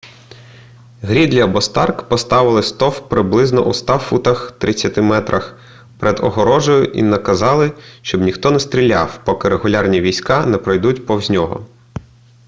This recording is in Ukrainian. грідлі або старк поставили стовп приблизно у 100 футах 30 м перед огорожею і наказали щоб ніхто не стріляв поки регулярні війська не пройдуть повз нього